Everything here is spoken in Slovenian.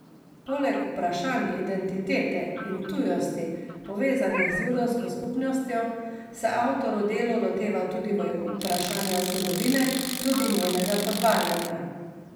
Poleg vprašanj identitete in tujosti, povezanih z judovsko skupnostjo, se avtor v delu loteva tudi vprašanja zgodovine, tudi njenega potvarjanja.